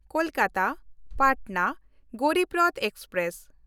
ᱠᱳᱞᱠᱟᱛᱟ–ᱯᱟᱴᱱᱟ Garib Rath express